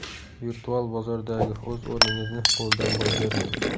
Virtual bozordagi o‘z o‘rningizni qo‘ldan boy bermang!